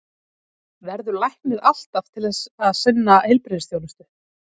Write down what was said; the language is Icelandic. Verður læknir alltaf til þess að sinna heilbrigðisþjónustu?